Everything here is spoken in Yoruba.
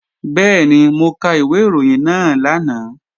Bẹ́ẹ̀ni, mo ka ìwé ìròyìn náà lánàá